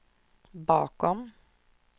bakom